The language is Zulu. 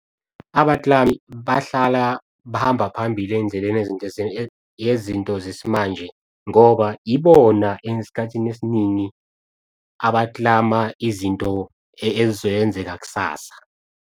Abaklami bahlala bahamba phambili ezindleleni ngeizinto zesimanje ngoba ibona esikhathini esiningi abaklama izinto ezoyenzeka kusasa.